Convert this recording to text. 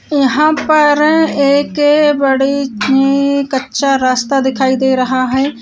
यहाँ पर एक बड़ी सी कच्चा रास्ता दिखाई दे रहा है।